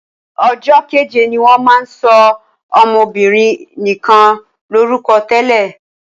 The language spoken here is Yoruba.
Ọjọ́ keje ni wọ́n máa ń sọ ọmọbinrin nikan lórúkọ tẹ́lẹ̀.